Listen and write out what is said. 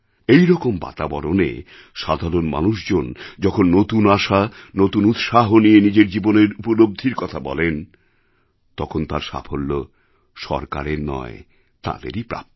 এই রকম বাতাবরণে সাধারণ মানুষজন যখন নতুন আশা নতুন উৎসাহ নিয়ে নিজের জীবনের উপলব্ধির কথা বলেন তখন তার সাফল্য সরকারের নয় তাঁদেরই প্রাপ্য